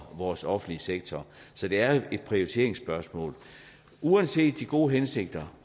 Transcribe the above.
vores offentlige sektor så det er et prioriteringsspørgsmål uanset de gode hensigter